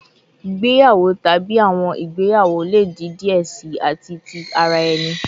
Igbeyawo tabi awọn igbeyawo le di diẹ sii ati ti ara ẹni